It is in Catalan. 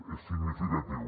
és significatiu